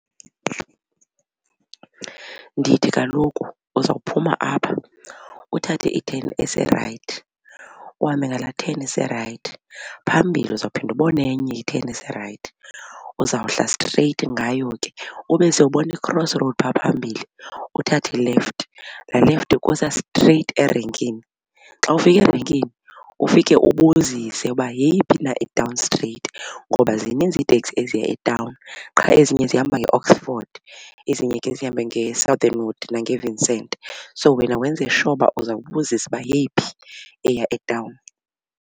Ndithi kaloku uzawuphuma apha uthathe i-turn ese-right uhambe ngala turn ise-right. Phambili uzawuphinda ubona enye i-turn ese-right uzawuhla straight ngayo ke ube sowubona i-cross road phaa phambili, uthathe i-left laa left ikusa straight erenkini. Xa ufika erenkini ufike ubuzise uba yeyiphi na itawuni straight ngoba zininzi iiteksi eziya etawuni qha ezinye zihamba ngeOxford ezinye ke zihambe ngeSouthernwood nangeVincent. So wena wenze sure uzawubuzisa uba yeyiphi eya etawuni.